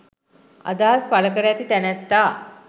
අදහස් පල කර ඇති තැනැත්තා